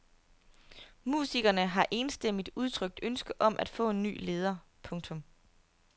Musikerne har enstemmigt udtrykt ønske om at få en ny leder. punktum